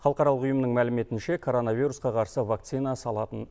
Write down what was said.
халықаралық ұйымның мәліметінше коронавирусқа қарсы вакцина салатын